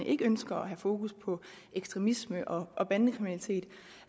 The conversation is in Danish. ikke ønsker at have fokus på ekstremisme og og bandekriminalitet